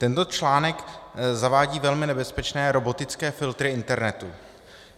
Tento článek zavádí velmi nebezpečné robotické filtry internetu.